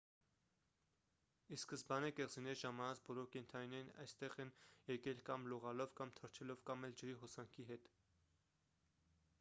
ի սկզբանե կղզիներ ժամանած բոլոր կենդանիներն այստեղ են եկել կամ լողալով կամ թռչելով կամ էլ ջրի հոսանքի հետ